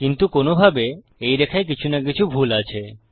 কিন্তু কোনভাবে এই রেখায় কিছু না কিছু ভুল আছে